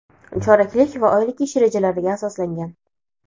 choraklik va oylik ish rejalariga asoslangan.